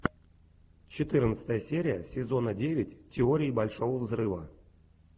четырнадцатая серия сезона девять теории большого взрыва